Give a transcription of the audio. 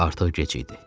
Artıq gec idi.